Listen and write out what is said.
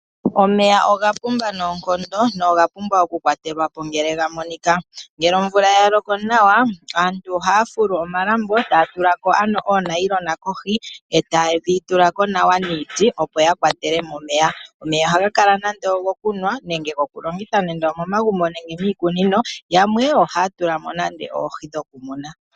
Omeya oga pumba noonkondo noga pumbwa okukwatwatelwapo ngele ga monika ,ngele omvula ya loko nawa aantu ohaya fulu omalambo taya tulako ano oonayona kohi eta yedhi tulako nawa niiti opo ya kwatelemo omeya. Omeya ohaga kala nande ogokunwa nenge gokulongitha nande omomagumbo nenge miikunino yamwe ohaya tulaml nande oohi dhokumuna.